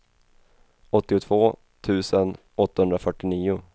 åttiotvå tusen åttahundrafyrtionio